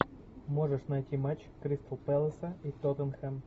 можешь найти матч кристал пэласа и тоттенхэм